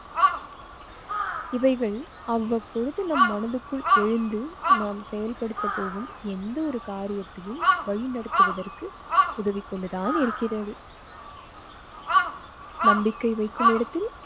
இவைகள் அவ்வப்பொழுது நம் மனதுக்குள் எழுந்து நாம் செயல்படுத்த போகும் எந்த ஒரு காரியத்தையும் வழிநடத்துவதற்கு உதவிக் கொண்டுதான் இருக்கிறது. நம்பிக்கை வைக்கும் இடத்தில்